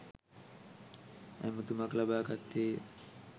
ඇමතුමක් ලබා ගත්තේය.